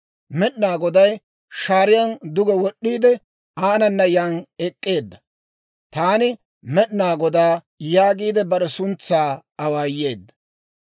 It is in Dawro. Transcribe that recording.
Med'inaa Goday shaariyaan duge wod'd'iide, aanana yaan ek'k'eedda; «Taan Med'inaa Godaa» yaagiide bare suntsaa awaayeedda.